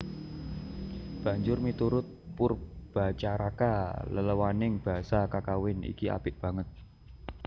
Banjur miturut Poerbatjaraka leléwaning basa kakawin iki apik banget